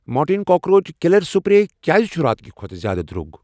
Mortein cockroach killer spray کیٛازِ چھ راتہٕ کہِ کھۄتہٕ زیادٕ درٛوگ؟